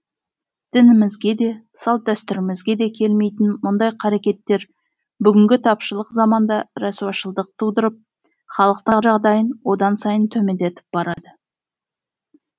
дінімізге де салт дәстүрімізге де келмейтін мұндай қарекеттер бүгінгі тапшылық заманда рәсуашылдық тудырып халықтың жағдайын одан сайын төмендетіп барады